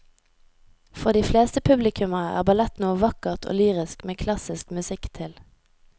For de fleste publikummere er ballett noe vakkert og lyrisk med klassisk musikk til.